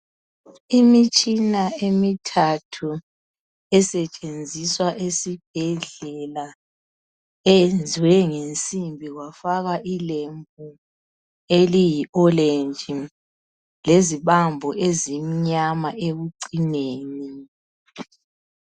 imitshina emithathu esetshenziswa esibhedlela eyenziwe ngensimbi kwafakwa ilembu eliyi olenji lezibambo ezimnyama ekucineni